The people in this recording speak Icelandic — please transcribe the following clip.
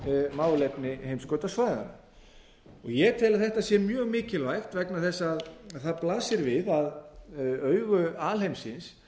málefni heimskautasvæðanna ég tel að þetta sé mjög mikilvægt vegna þess að það blasir við augu alheimsins